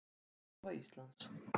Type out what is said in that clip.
Veðurstofa Íslands.